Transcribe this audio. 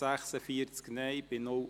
Rückweisung mit Auflage